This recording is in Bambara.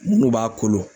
Minnu b'a kolon